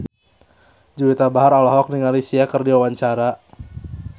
Juwita Bahar olohok ningali Sia keur diwawancara